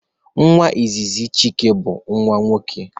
Nwa izizi Chike bụ nwa nwoke